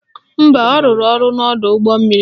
Mba, ọ rụrụ n'ọdọụgbọmmiri